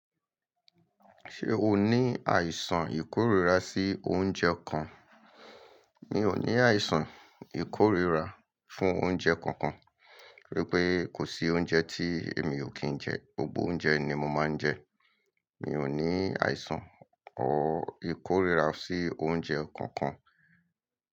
Ṣé o ní àìsàn ìkóríra sí oúnjẹ kan? Mi ò ní àìsàn ìkóríra fún oúnjẹ kankan, wípé kò sí oúnjẹ tí èmi ò kì ń jẹ, gbogbo oúnjẹ ni mo máa ń jẹ. Mi ò ní àìsàn or ìkóríra sí oúnjẹ kankan.